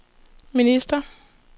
minister